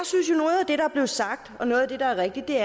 jeg er sagt og noget af det der er rigtigt